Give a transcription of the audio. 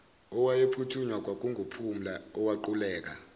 owayephuthunywa kwakunguphumla owaquleka